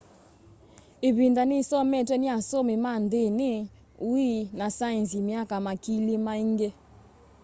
ivinda ni isometwe ni asomi ma ndini ui na saenzi myaka makili maingi